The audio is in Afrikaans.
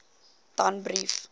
danbrief